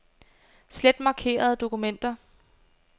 Slet markerede dokumenter.